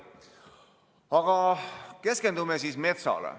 Aga keskendume metsale.